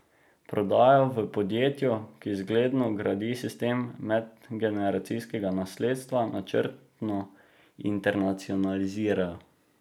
Prodajo v podjetju, ki zgledno gradi sistem medgeneracijskega nasledstva, načrtno internacionalizirajo.